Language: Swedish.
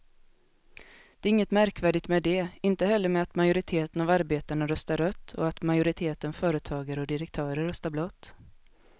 Det är inget märkvärdigt med det, inte heller med att majoriteten av arbetarna röstar rött och att majoriteten företagare och direktörer röstar blått.